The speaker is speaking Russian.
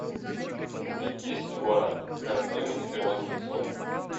купить десять гуарани какая стоимость в перуанских солях